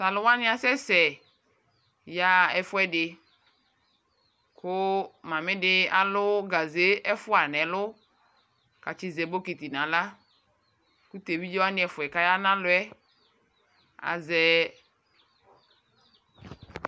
Taluwanii asɛsɛ yaɣa ɛfuɛdi kuu mamedi aluu gaʒe ɛfua ɛlu kaƶɛ bomiti naɣla aƶɛɛ